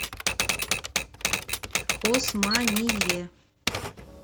османие